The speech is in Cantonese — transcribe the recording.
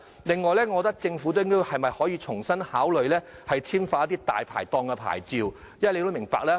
另外，政府是否可重新考慮簽發大牌檔牌照？